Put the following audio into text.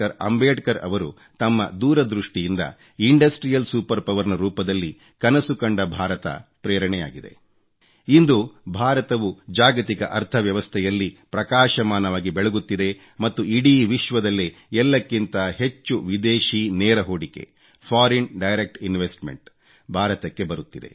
ಅಂಬೇಡ್ಕರ್ ಅವರು ತಮ್ಮ ದೂರದೃಷ್ಟಿಯಿಂದ ಇಂಡಸ್ಟ್ರಿಯಲ್ ಸೂಪರ್ ಪವರ್ ನ ರೂಪದಲ್ಲಿ ಕನಸು ಕಂಡ ಭಾರತ ಪ್ರೇರಣೆಯಾಗಿದೆ ಇಂದು ಭಾರತವು ಜಾಗತಿಕ ಅರ್ಥ ವ್ಯವಸ್ಥೆಯಲ್ಲಿ ಪ್ರಕಾಶಮಾನವಾಗಿ ಬೆಳಗುತ್ತಿದೆ ಮತ್ತು ಇಡೀ ವಿಶ್ವದಲ್ಲೇ ಎಲ್ಲಕ್ಕಿಂತ ಹೆಚ್ಚು ವಿದೇಶೀ ನೇರ ಹೂಡಿಕೆ ಫೋರಿಯನ್ ಡೈರೆಕ್ಟ್ ಇನ್ವೆಸ್ಟ್ಮೆಂಟ್ ಎಫ್ಡಿಇ ಭಾರತಕ್ಕೆ ಬರುತ್ತಿದೆ